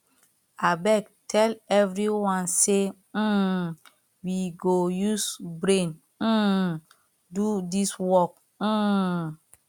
abeg tell everyone say um we go use brain um do dis work um